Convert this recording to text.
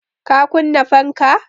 Ka kunna fanka!